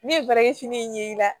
Ne ye barakɛ fini in ye i la